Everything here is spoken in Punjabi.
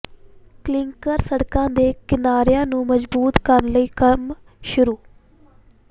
ਿਲੰਕ ਸੜਕਾਂ ਦੇ ਕਿਨਾਰਿਆਂ ਨੂੰ ਮਜ਼ਬੂਤ ਕਰਨ ਲਈ ਕੰਮ ਸ਼ੁਰੂ